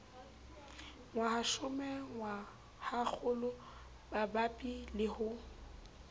ngwahashome ngwahakgolo bapabi le ho